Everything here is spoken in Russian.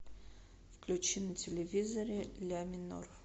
включи на телевизоре ля минор